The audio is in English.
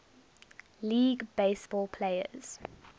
league baseball players